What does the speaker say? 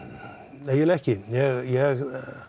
nei eiginlega ekki ég